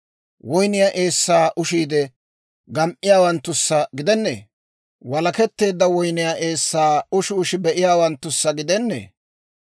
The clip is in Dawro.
Woynniyaa eessaa ushiidde gam"iyaawanttussa gidennee? Walaketteedda woyniyaa eessaa ushi ushi be'iyaawanttussa gidennee?